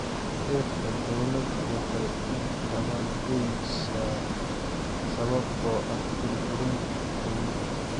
Dhirta daawada waxay u dabar go�aysaa sababtoo ah burburinta kaymaha.